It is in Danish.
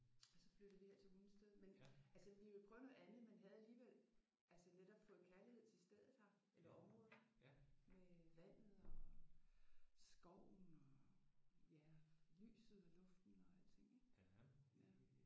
Og så flyttede vi her til Hundested men altså vi ville prøve noget andet men havde alligevel altså netop fået kærlighed til stedet her eller området med vandet og skoven og ja lyset og luften og alting